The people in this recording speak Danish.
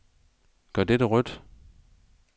Gør dette rødt.